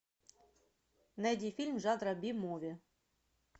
найди фильм жанра би муви